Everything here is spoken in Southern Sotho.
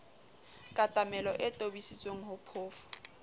katamelo e tobisitsweng ho phofu